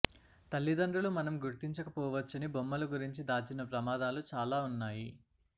తల్లిదండ్రులు మనం గుర్తించకపోవచ్చని బొమ్మలు గురించి దాచిన ప్రమాదాలు చాలా ఉన్నాయి